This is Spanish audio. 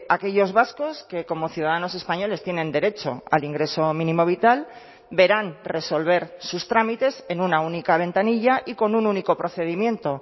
aquellos vascos que como ciudadanos españoles tienen derecho al ingreso mínimo vital verán resolver sus trámites en una única ventanilla y con un único procedimiento